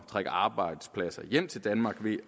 trække arbejdspladser hjem til danmark ved